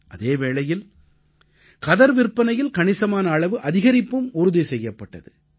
அதே வேளையில் கதர் விற்பனையில் கணிசமான அளவு அதிகரிப்பும் உறுதி செய்யப்பட்டது